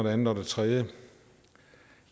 andet og det tredje